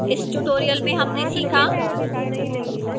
इस tutorial में हमने सीखा: